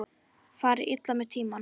Fari illa með tímann.